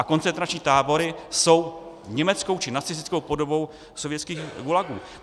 A koncentrační tábory jsou německou či nacistickou podobou sovětských gulagů.